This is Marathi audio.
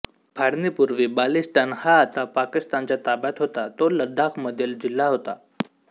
फाळणीपूर्वी बाल्टिस्तान हा आता पाकिस्तानच्या ताब्यात होता तो लडाखमधील जिल्हा होता